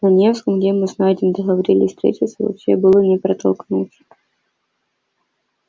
на невском где мы с найдом договорились встретиться вообще было не протолкнуться